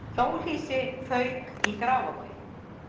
Hjólhýsi fauk í Grafarvogi